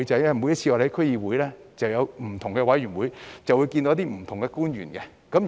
因為區議會之下設有不同的委員會，會與不同的官員會面。